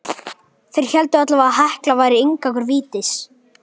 Þeir héldu allavega að Hekla væri inngangur vítis.